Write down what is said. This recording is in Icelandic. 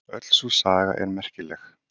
Öll sú saga er merkileg.